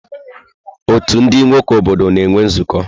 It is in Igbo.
Ọ́tù ndị nwoke obodo na-enwe nzukọ.